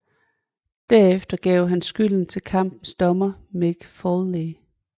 Derefter gav han skylden til kampens dommer Mick Foley